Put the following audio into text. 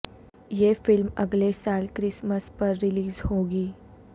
یہ فلم اگلے سال کرسمس پر ریلیز ہو گی